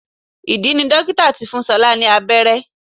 Ìdí ni dókítà tí fún ṣọlá ní abẹ́rẹ́